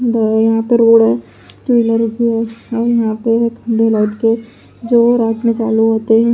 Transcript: यहांपे road है trailer रुकी है और यहां पे खड़े लाइट के जो रात में चालू होते हैं।